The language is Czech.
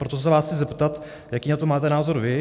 Proto se vás chci zeptat, jaký na to máte názor vy.